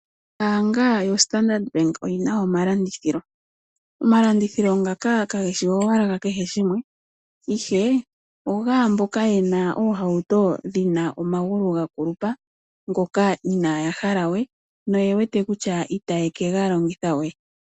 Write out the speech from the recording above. Ombaanga yoStandard Bank oyi na omalandithilo , omalandithilo ngaka kage shi owala gakehe gumwe , ihe ogaa mboka ye na oohauto dhi na omagulu ga kulupa , ngoka inaaya hala we noye wete kutya itaye kega longitha we.